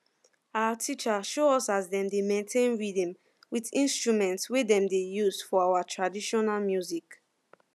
our teacher show us as dem dey maintain rhythm with instrument wey dem dey use for our traditional music